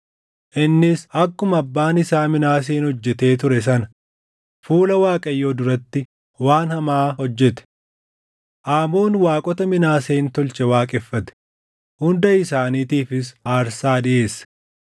Innis akkuma abbaan isaa Minaaseen hojjetee ture sana fuula Waaqayyoo duratti waan hamaa hojjete. Aamoon waaqota Minaaseen tolche waaqeffate; hunda isaaniitifis aarsaa dhiʼeesse.